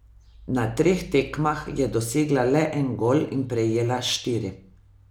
Na treh tekmah je dosegla le en gol in prejela štiri.